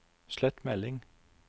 slett melding